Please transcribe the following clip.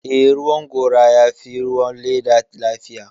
Eh, ruwan gora ya fi ruwan leda lafiya